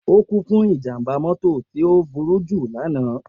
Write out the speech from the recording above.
O ku fun ijamba mọto ti o buruju lana.